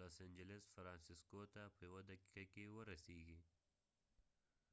لاس انجلس los angeles ته په یوه دقیفه کې ورسیږی